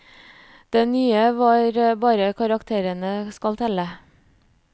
Det nye var at bare karakterene skal telle.